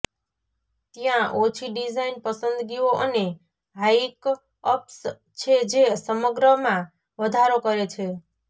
ત્યાં ઓછી ડિઝાઇન પસંદગીઓ અને હાઈકઅપ્સ છે જે સમગ્રમાં વધારો કરે છે